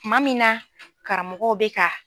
Tuma min na karamɔgɔw bɛ ka